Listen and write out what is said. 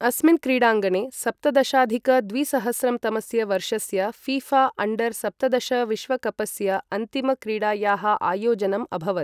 अस्मिन् क्रीडाङ्गणे सप्तदशाधिक द्विसहस्रं तमस्य वर्षस्य फीफा अण्डर सप्तदश विश्वकपस्य अन्तिम क्रीडायाः आयोजनम् अभवत् ।